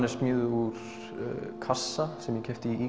er smíðuð úr kassa sem ég keypti í